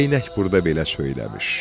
Geynək burda belə söyləmiş: